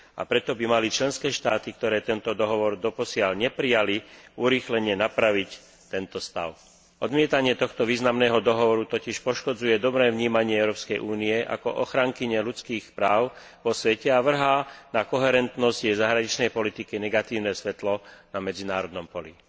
A preto by mali členské štáty, ktoré tento dohovor doposiaľ neprijali, urýchlene napraviť tento stav. Odmietanie tohto významného dohovoru totiž poškodzuje dobré vnímanie Európskej únie ako ochrankyne ľudských práv vo svete a vrhá na koherentnosť jej zahraničnej politiky negatívne svetlo na medzinárodnom poli.